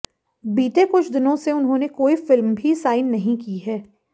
बीते कछ दिनों से उन्होंने कोई फिल्म भी साइन नहीं की है